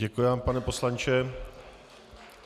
Děkuji vám, pane poslanče.